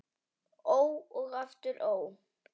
Ó og aftur ó.